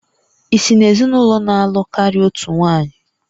Ị si n'ezinụlọ na-alụ karịa otu nwanyị?